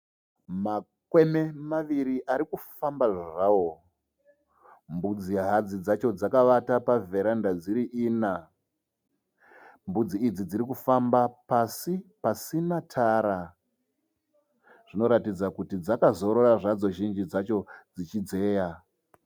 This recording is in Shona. Makwene maviri arikufamba zvawo, mbudzi hadzi dzacho dzakavata pa vheranda dziri ina, mbudzi idzi dzirikufamba pasi pasina tara, dzinoratidza kuti dzakazozora zhinji dzadzo dzichidzeya.